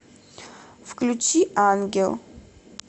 включи ангел